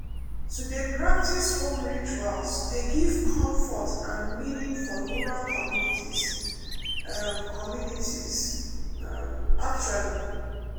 to dey practice home rituals dey give comfort and meaning for rural communities um communities um actually